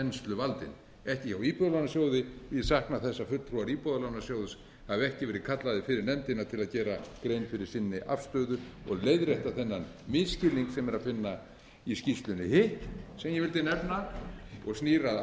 finna þensluvaldinn ekki hjá íbúðalánasjóði ég sakna þess að fulltrúar íbúðalánasjóðs hafi ekki verið kallaðir fyrir nefndina til að gera grein fyrir sinni afstöðu og leiðrétta þennan misskilning sem er að finna í skýrslunni hitt sem ég vildi nefna og snýr að